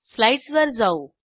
स्लाईडसवर जाऊ